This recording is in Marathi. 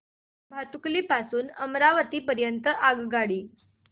भातुकली पासून अमरावती दरम्यान आगगाडी